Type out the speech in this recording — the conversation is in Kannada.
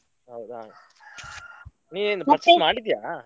ಹೌದಾ ನೀ ಏನ್ ಮಾಡಿದ್ಯಾ.